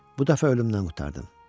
Bu dəfə ölümdən qurtardım.